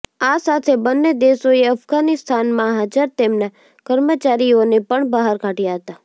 આ સાથે બંને દેશોએ અફઘાનિસ્તાનમાં હાજર તેમના કર્મચારીઓને પણ બહાર કાઢયા હતા